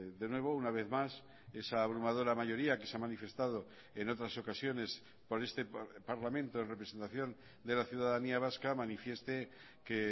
de nuevo una vez más esa abrumadora mayoría que se ha manifestado en otras ocasiones por este parlamento en representación de la ciudadanía vasca manifieste que